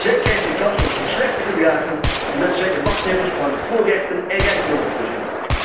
Zij krijgen de kans om zich slecht te gedragen, doordat zij de machthebbers van voorrechten en rijkdommen voorzien.